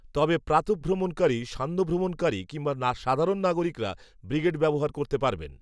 তবে প্রাতঃভ্রমণকারী সান্ধ্যভ্রমণকারী, কিংবা সাধারণ নাগরিকেরা, ব্রিগেড ব্যবহার করতে পারবেন